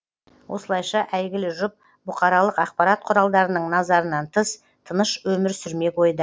осылайша әйгілі жұп бұқаралық ақпарат құралдарының назарынан тыс тыныш өмір сүрмек ойда